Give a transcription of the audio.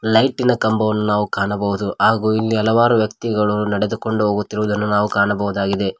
ಲೈಟಿನ ಕಂಬವನ್ನು ನಾವು ಕಾಣಬಹುದು ಆಗು ಇಲ್ಲಿ ಹಲವಾರು ವ್ಯಕ್ತಿಗಳು ಇಲ್ಲಿ ನಡೆದುಕೊಂಡು ಹೋಗುತ್ತಿರುವುದನ್ನು ನಾವು ಕಾಣಬಹುದಾಗಿದೆ.